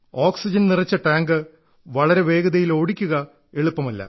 oxygen നിറച്ച tank വളരെ വേഗതയിൽ ഓടിക്കുക എളുപ്പമല്ല